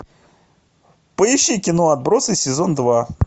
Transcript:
поищи кино отбросы сезон два